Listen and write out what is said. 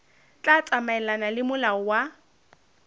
tla tsamaelana le molao wa